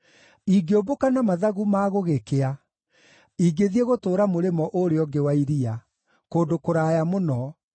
Ingĩũmbũka na mathagu ma gũgĩkĩa, ingĩthiĩ gũtũũra mũrĩmo ũrĩa ũngĩ wa iria, kũndũ kũraya mũno,